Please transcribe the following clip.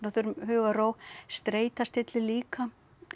þurfum hugarró streita stillir líka